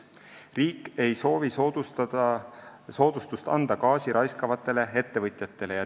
Riik ei soovi soodustust anda gaasi raiskavatele ettevõtjatele.